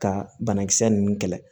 Ka banakisɛ ninnu kɛlɛ